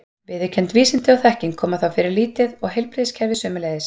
Viðurkennd vísindi og þekking koma þá fyrir lítið og heilbrigðiskerfið sömuleiðis.